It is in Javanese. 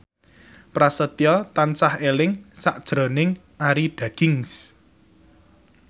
Prasetyo tansah eling sakjroning Arie Daginks